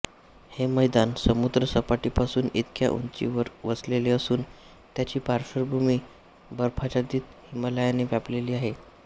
हे मैदान समुद्रसपाटीपासून इतक्या उंचीवर वसलेले असून त्याची पार्श्वभूमी बर्फाच्छादित हिमालयाने व्यापलेली आहे